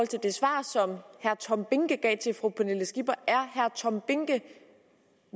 til det svar som herre tom behnke gav til fru pernille skipper er herre tom behnke